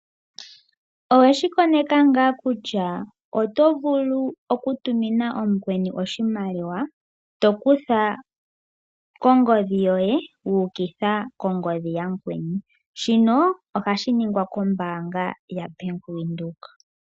Oweshi koneka ngaa kutya oto vulu okutumina omukweni oshimaliwa to kutha kongodhi yoye wuukitha kongodhi yamukweni? Shino ohashi ningwa kombaanga yaBank Windhoek.